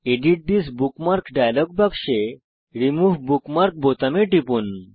edit this bookmark dialogue বাক্সে remove bookmark বোতামে টিপুন